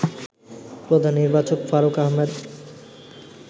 প্রধান নির্বাচক ফারুক আহমেদ